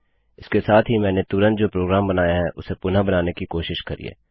इसके साथ ही मैंने तुरंत जो प्रोग्राम बनाया है उसे पुनः बनाने की कोशिश करिए